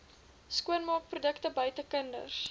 skoonmaakprodukte buite kinders